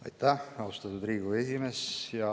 Aitäh, austatud Riigikogu esimees!